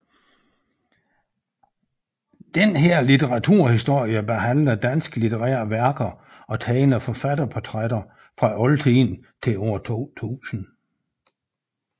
Denne litteraturhistorie behandler danske litterære værker og tegner forfatterportrætter fra oldtiden til år 2000